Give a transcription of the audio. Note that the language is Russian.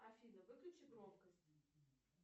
афина выключи громкость